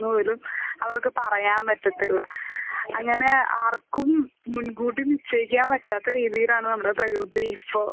പോലും അവർക്ക് പറയാൻ പറ്റത്തില്ല. അങ്ങനെ ആർക്കും മുൻകൂട്ടി നിശ്ചയിക്കാൻ പറ്റാത്ത രീതിയിലാണ് നമ്മുടെ പ്രകൃതി ഇപ്പൊ.